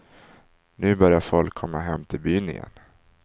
Nu börjar folk komma hem till byn igen.